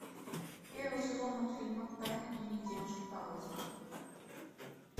первый сезон мультфильма тайный дневник девушки по вызову